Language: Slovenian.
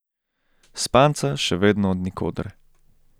Spanca še vedno od nikoder.